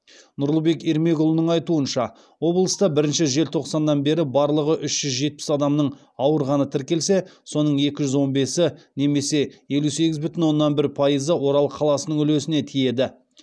нұрлыбек ермекұлының айтуынша облыста бірінші желтоқсаннан бері барлығы үш жүз жетпіс адамның ауырғаны тіркелсе соның екі жүз он бесі немесе елу сегіз бүтін оннан бір пайызы орал қаласының үлесіне тиеді